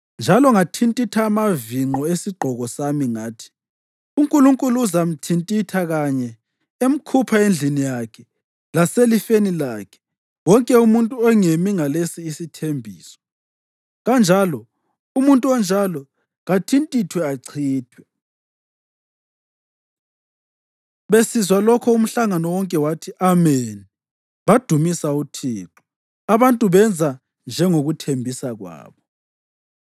Njalo ngathintitha amavinqo esigqoko sami ngathi, “UNkulunkulu uzamthintitha kanje emkhupha endlini yakhe laselifeni lakhe wonke umuntu ongemi ngalesi isithembiso. Kanjalo umuntu onjalo kathintithwe achithwe!” Besizwa lokho umhlangano wonke wathi, “Ameni,” badumisa uThixo. Abantu benza njengokuthembisa kwabo.